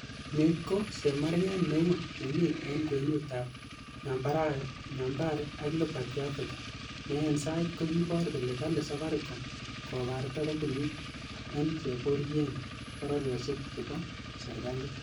Ni ko chemarget neu nemi en kwenutab Nyambere ak Liberty Afrika, ne en sait kokibor kole kali safaricom kobarta kompunit en cheboryen boriosiek che bo serkalit.